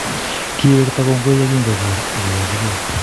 Kiwekta kongoi yekingoker akowechikei